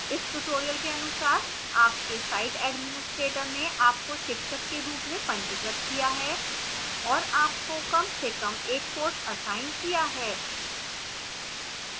इस tutorial के अनुसार आपके site administrator ने आपको शिक्षक के रूप में पंजीकृत किया है और आपको कम से कम एक कोर्स असाइन किया है